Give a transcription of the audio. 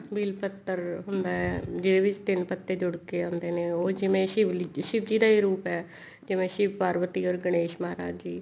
ਬੇਲ ਪੱਤਰ ਹੁੰਦਾ ਜਿਹਦੇ ਵਿੱਚ ਤਿੰਨ ਪੱਤੇ ਜੁੜ ਕੇ ਆਉਂਦੇ ਨੇ ਉਹ ਜਿਵੇਂ ਸ਼ਿਵ ਜੀ ਦਾ ਈ ਰੂਪ ਹੈ ਜਿਵੇਂ ਸ਼ਿਵ ਪਾਰਵਤੀ or ਗਣੇਸ਼ ਮਹਾਰਾਜ ਜੀ